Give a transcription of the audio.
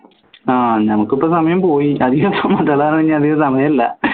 ആഹ് നമുക്കിപ്പോ സമയം പോയി അധികം സമയല്ല